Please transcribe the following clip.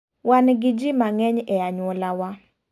Wan gi ji mang'eny e anyuola wa.